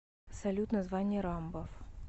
салют название рамбов